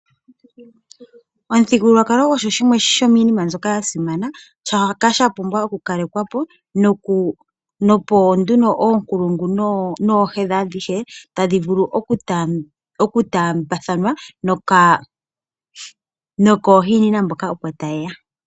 Omuthingululwakalo ogo shimwe shominima mbyoka yasimana shoka shapumbwa oku kalekwapo opo nduno okulungu nohedhi adhihe tadhivulu oku tambathanwa nokohinina mboka opo tayeya.